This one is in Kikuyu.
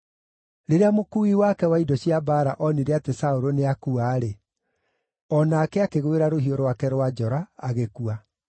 Rĩrĩa mũkuui wake wa indo cia mbaara onire atĩ Saũlũ nĩakua-rĩ, o nake akĩgwĩra rũhiũ rwake rwa njora, agĩkua.